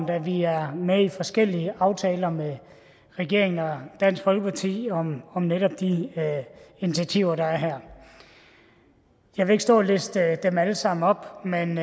da vi er med i forskellige aftaler med regeringen og dansk folkeparti om om netop de initiativer der er her jeg vil ikke stå og liste dem alle sammen op men